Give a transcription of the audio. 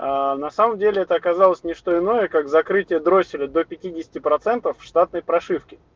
аа на самом деле это оказалось не что иное как закрытие дросселя до пятидесяти процентов штатной прошивки